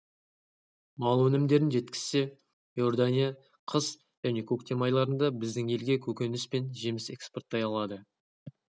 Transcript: мал өнімдерін жеткізсе иордания қыс және көктем айларында біздің елге көкөніс пен жеміс экспорттай алады